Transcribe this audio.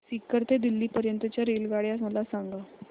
सीकर ते दिल्ली पर्यंत च्या रेल्वेगाड्या मला सांगा